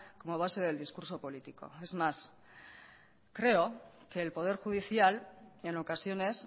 como base del discurso político es más creo que el poder judicial en ocasiones